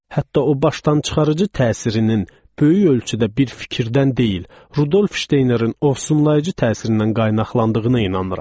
Hətta o başdan çıxarıcı təsirinin böyük ölçüdə bir fikirdən deyil, Rudolf Şteynerin ovsunlayıcı təsirindən qaynaqlandığına inanıram.